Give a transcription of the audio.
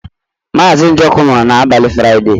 Mazị Njoku nwụrụ n'abalị Fraịde.